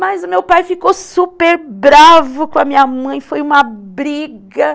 Mas o meu pai ficou super bravo com a minha mãe, foi uma briga.